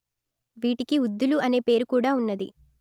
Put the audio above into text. వీటికి ఉద్దులు అనే పేరు కూడ వున్నది